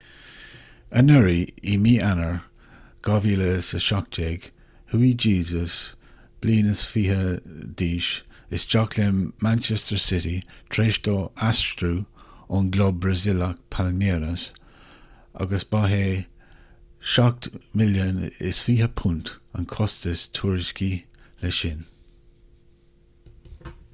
anuraidh i mí eanáir 2017 chuaigh jesus 21 bliain d'aois isteach le manchester city tar éis dó aistriú ón gclub brasaíleach palmeiras agus ba é £27 milliún an costas tuairiscithe leis sin